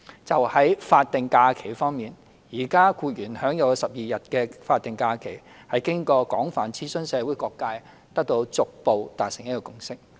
就法定假日方面，現時僱員享有的12天法定假日，是經過廣泛諮詢社會各界後得到逐步達成的共識。